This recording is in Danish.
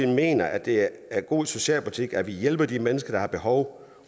mener at det er god socialpolitik at hjælpe de mennesker der har behov